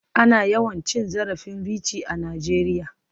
Ana yawan cin zarafin Richie a Najeriya.